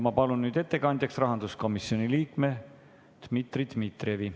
Ma palun ettekandjaks rahanduskomisjoni liikme Dmitri Dmitrijevi.